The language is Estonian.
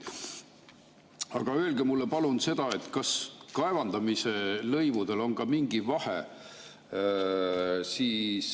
Aga öelge mulle palun seda, kas kaevandamis lõivudel on ka mingi vahe.